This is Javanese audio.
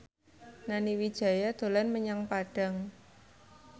Nani Wijaya dolan menyang Padang